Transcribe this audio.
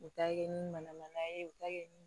U ta kɛ ni mana ye u bɛ taa kɛ